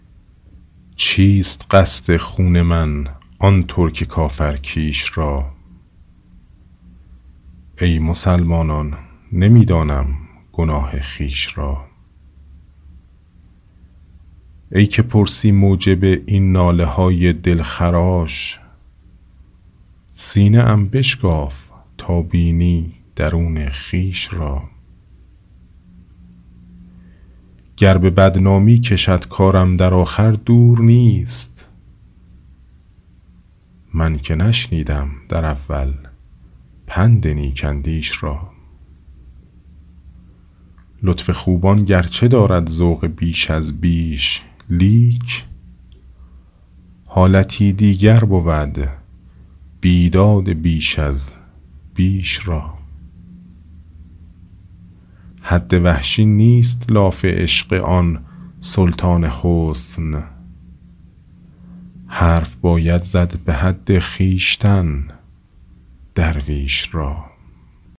چیست قصد خون من آن ترک کافر کیش را ای مسلمانان نمی دانم گناه خویش را ای که پرسی موجب این ناله های دلخراش سینه ام بشکاف تا بینی درون خویش را گر به بدنامی کشد کارم در آخر دور نیست من که نشنیدم در اول پند نیک اندیش را لطف خوبان گرچه دارد ذوق بیش از بیش لیک حالتی دیگر بود بیداد بیش از بیش را حد وحشی نیست لاف عشق آن سلطان حسن حرف باید زد به حد خویشتن درویش را